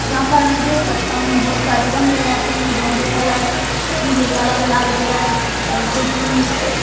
जहां पर मैं देख सकता हूं बहुत सारे गमले रखे हैं दोहरे कलर पीले कलर लाल कलर और कुछ उनमें पे--